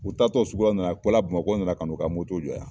U taatɔ sugu la u nana u bɔla BAMAKƆ u nana ka n'u ka jɔ yan.